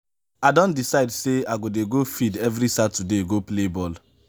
i don decide sey i go dey go field every saturday go play ball.